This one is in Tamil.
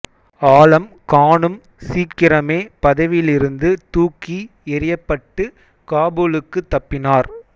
ஆலம் கானும் சீக்கிரமே பதவியிலிருந்து தூக்கி எறியப்பட்டு காபூலுக்கு தப்பினார்